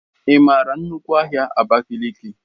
Ị mara nnukwu ahia Abakiliki?